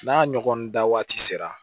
N'a ɲɔgɔn da waati sera